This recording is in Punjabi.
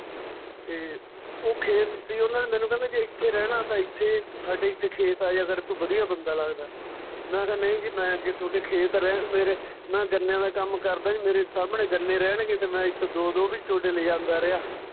ਤੇ ਉਹ ਖੇਤ ਸੀ ਮੈਨੂੰ ਕਹਿੰਦੇ ਜੇ ਏਥੇ ਰਹਿਣਾ ਤਾਂ ਏਥੇ ਸਾਡੇ ਏਥੇ ਖੇਤ ਆ ਜਾਇਆ ਕਰ ਤੂੰ ਵਧੀਆ ਬੰਦਾ ਲੱਗਦਾ ਮੈਂ ਕਿਹਾ ਨਈਂ ਜੀ ਮੈਂ ਜੇ ਥੋਡੇ ਖੇਤ ਰਿਹਾ ਮੇਰੇ ਮੈਂ ਗੰਨਿਆਂ ਦਾ ਕੰਮ ਕਰਦਾ ਜੀ ਮੇਰੇ ਸਾਹਮਣੇ ਗੰਨੇ ਰਹਿਣ ਤੇ ਮੈਂ ਏਥੋ ਦੋ ਦੋ ਵੀ ਥੋਡੇ ਲਿਜਾਂਦਾ ਰਿਹਾ